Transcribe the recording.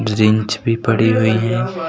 Wrench भी पड़ी हुई है।